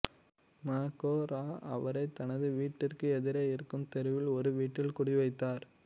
ம கோ இரா அவரைத் தனது வீட்டிற்கு எதிரே இருக்கும் தெருவில் ஒரு வீட்டில் குடிவைத்தார்